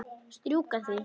Strjúka því.